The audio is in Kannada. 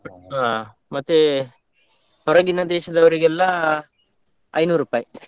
ಹ, ಮತ್ತೆ ಹೊರಗಿನ ದೇಶದವ್ರಿಗೆಲ್ಲ ಐನೂರುಪಾಯಿ.